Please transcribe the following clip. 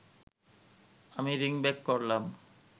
আমি ring back করলাম